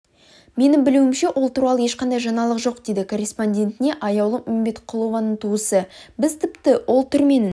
менің білуімше ол туралы ешқандай жаңалық жоқ дейді корреспондентіне аяулым үмбетқұлованың туысы біз тіпті ол түрменің